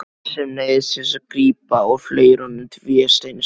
Sem neyðist til að grípa og fleygir honum til Vésteins.